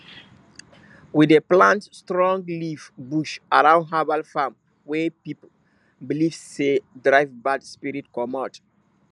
we dey plant strong leaf bush around herbal farm wey people believe say dey drive bad spirit comot